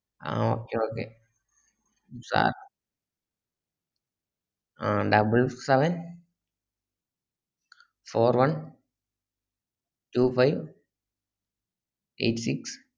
ആഹ് okay okay സ ah double seven four one two five eight six